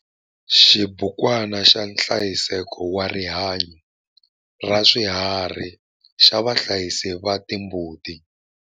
XIBUKWANA XA NHLAYISEKO WA RIHANYO RA SWIHARHI XA VAHLAYISI VA TIMBUTI